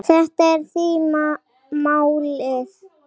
Þetta er því málið.